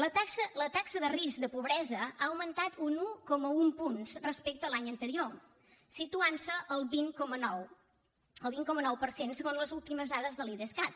la taxa de risc de pobresa ha augmentat un un coma un punts respecte a l’any anterior i se situa al vint coma nou per cent segons les últimes dades de l’idescat